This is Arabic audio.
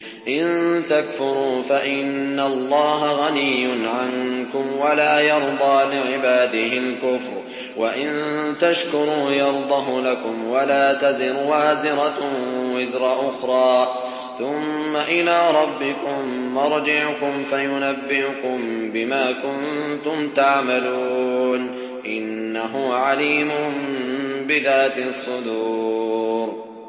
إِن تَكْفُرُوا فَإِنَّ اللَّهَ غَنِيٌّ عَنكُمْ ۖ وَلَا يَرْضَىٰ لِعِبَادِهِ الْكُفْرَ ۖ وَإِن تَشْكُرُوا يَرْضَهُ لَكُمْ ۗ وَلَا تَزِرُ وَازِرَةٌ وِزْرَ أُخْرَىٰ ۗ ثُمَّ إِلَىٰ رَبِّكُم مَّرْجِعُكُمْ فَيُنَبِّئُكُم بِمَا كُنتُمْ تَعْمَلُونَ ۚ إِنَّهُ عَلِيمٌ بِذَاتِ الصُّدُورِ